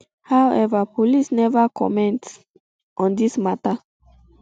however police neva comment um on di mata